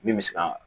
Min bɛ se ka